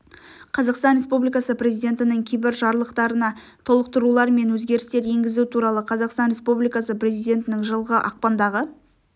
қазақстан республикасы президентінің кейбір жарлықтарына толықтырулар мен өзгерістер енгізу туралы қазақстан республикасы президентінің жылғы ақпандағы